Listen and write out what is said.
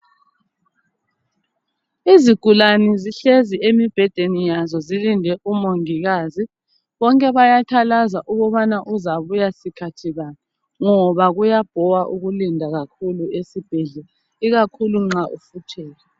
Izigulane zihlezi emibhedeni yazo zilinde umongikazi, bonke bayathalaza ukubana uzabuya sikhathi bani ngoba kuyabhowa ukulinda kakhulu esibhedlela ikakhulu nxa ufuthelwa